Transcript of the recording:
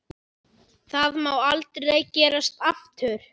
Það má aldrei gerast aftur.